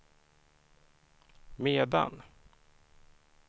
medan